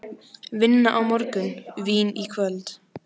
Vinna á morgun, vín í kvöld.